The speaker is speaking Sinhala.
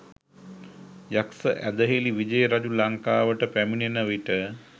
යක්‍ෂ ඇදහිලි විජය රජු ලංකාවට පැමිණෙනවිට